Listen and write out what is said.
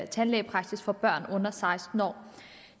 tandlægepraksis for børn under seksten år